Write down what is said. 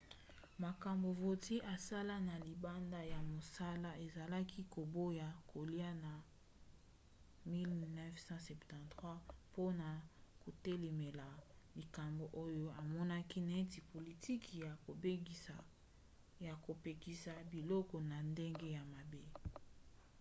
makambo vautier asala na libanda ya mosala ezali koboya kolia na 1973 mpona kotelemela likambo oyo amonaki neti politiki ya kopekisa biloko na ndenge ya mabe